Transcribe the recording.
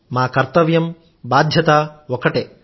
మా కర్తవ్యం మా బాధ్యతా ఒక్కటే